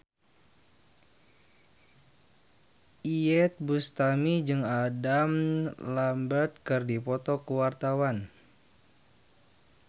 Iyeth Bustami jeung Adam Lambert keur dipoto ku wartawan